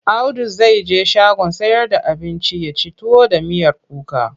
Audu zai je shagon sayar da abinci ya ci tuwo da miyar kuka.